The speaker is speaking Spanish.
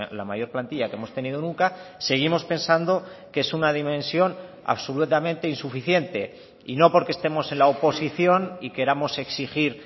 la mayor plantilla que hemos tenido nunca seguimos pensando que es una dimensión absolutamente insuficiente y no porque estemos en la oposición y queramos exigir